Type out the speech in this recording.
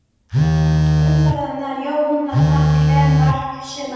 Mark umferðarinnar: Jonathan Glenn Mark sumarsins?